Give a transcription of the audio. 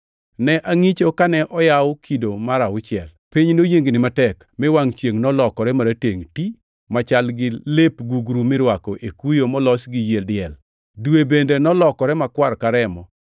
Ne angʼicho kane oyawo kido mar auchiel. Piny noyiengni matek. Mi wangʼ chiengʼ nolokore maratengʼ ti, machal gi lep gugru mirwako e kuyo molos gi yie diel, dwe bende nolokore makwar ka remo;